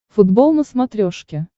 футбол на смотрешке